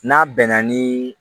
N'a bɛnna ni